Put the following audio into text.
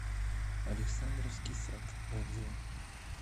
александровский сад отзывы